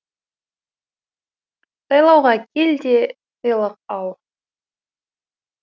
сайлауға кел де сыйлық ал